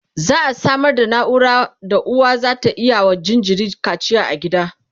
za'a Samar da naura da uwa zata iya wa jinjiri kacia a gida